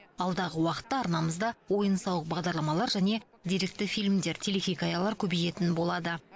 алдағы уақытта арнамызда ойын сауық бағдарламалар және деректі фильмдер телехикаялар көбейетін болады